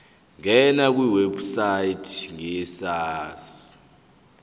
ngena kwiwebsite yesars